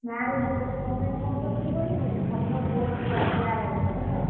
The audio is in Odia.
ନା ରେ ମୁଁ ତତେ କଣ ପାଇଁ phone କରିଥିନୀ କହନି ଗୋଟେ ଭଲ post ବାହାରିଛି RI ର ହେଲା,